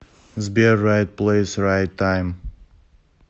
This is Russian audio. сбер райт плэйс райт тайм